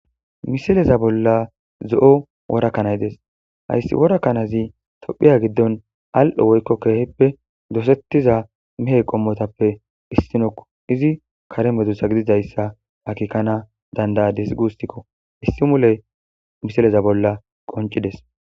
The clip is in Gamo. misileza bolla zo7o worakanay des hayssi worakkanazi tophiya giddon al7ho woykko keehippe dosettiza mihey qommotappe issinokko izi kare medussa gididayssa akikkana dandaya disgustikko issi mule misileza bolla qoncides